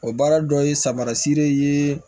O baara dɔ ye samarasi de ye